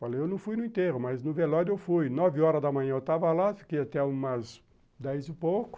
Falei, eu não fui no enterro, mas no velório eu fui, nove horas da manhã eu estava lá, fiquei até umas dez e pouco,